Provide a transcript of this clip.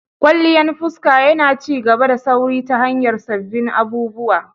Kwalliyan fuska yana ci gaba da sauri ta hanyar sabbin abubuwa.